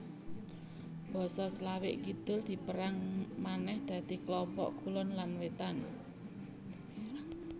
Basa Slavik Kidul dipérang manèh dadi klompok kulon lan wétan